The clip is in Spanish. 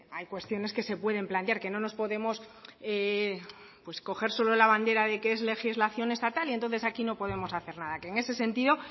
hay cuestiones que se pueden plantear que no nos podemos coger solo la bandera de que es legislación estatal y entonces aquí no podemos hacer nada en ese sentido